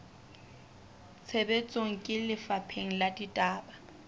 tshebetsong ke lefapha la ditaba